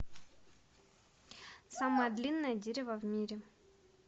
самое длинное дерево в мире